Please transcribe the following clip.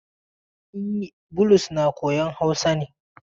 E, Bulus na koyan Hausa ne.